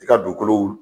I ka dugukolo